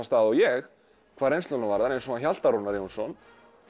stað og ég hvað reynsluna varðar eins og hann Hjalta Rúnar Jónsson